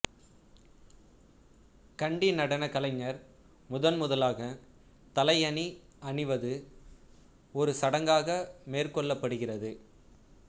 கண்டி நடனக் கலைஞர் முதன் முதலாகத் தலை அணி அணிவது ஒரு சடங்காக மேற்கொள்ளப்படுகிறது